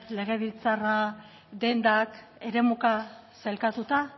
legebiltzarra dendak eremuka sailkatuta